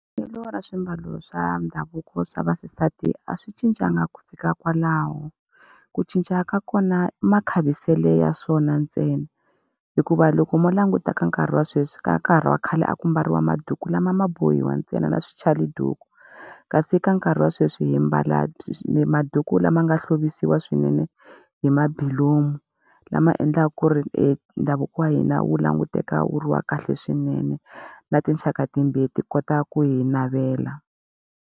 Vuyelo ra swimbalo swa ndhavuko swa vaxisati a swi cincanga ku fika kwalaho ku cinca ka kona makhaviselo ya swona ntsena hikuva loko mo langutisa ka nkarhi wa sweswi ka ha ri wa khale a ku mbariwa maduku lama ma bohiwa ntsena na swi chali duku kasi ka nkarhi wa sweswi hi mbala maduku lama nga hlovisiwa swinene hi mabulomu lama endlaka ku ri ndhavuko wa hina wu languteka wu ri wa kahle swinene na tinxaka timbirhi ti kota ku hi navela